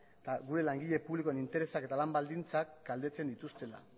eta gure langile publikoen interesak eta lan baldintzak kaltetzen dituztela